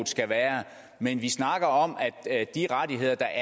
skal være men vi snakker om de rettigheder der